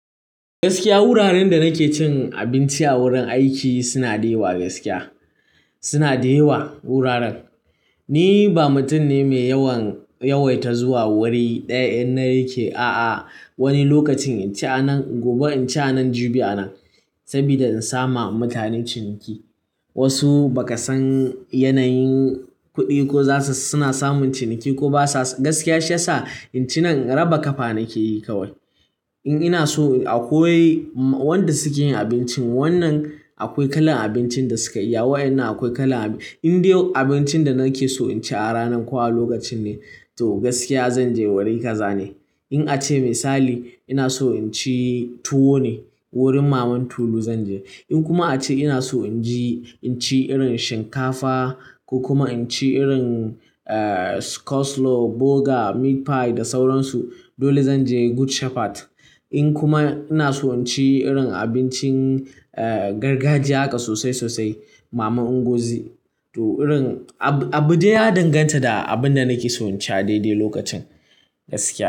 Gaskiya wuraren da nake cin abinci a wurin aiki suna da yawa gaskiya suna da yawa wuraren. Ni ba mutum ne mai yawaita zuwa wuri ɗaya in na yake. A'a wani lokacin inci a nan gobe inci a nan jibi a nan saboda in samu mutane ciniki. Wasu ba ka san yanayin kuɗi ko za su suna samun ciniki ko ba sa gaskiya shi ya sa incinan raba kafa nake yi kawai. In ina so akwai wanda suke yin abincin wannan akwai kalan abincin da suka iya wa'innan akwai kala. In dai abincin da nake so inci a ranan ko a lokacin ne to gaskiya zan je wuri kaza ne. In ace misali ina so inci tuwo ne wurin maman Tolu zan je. In kuma ace ina so inji inci irin shinkafa ko kuma inci irin coleslaw, burger, meat pie da sauransu dole zan je Good Shepherd. In kuma ina so inci irin abincin gargajiya haka sosai sosai mama Ngozi. To irin abu dai ya danganta da abin da nake so inci a daidai lokacin gaskiya.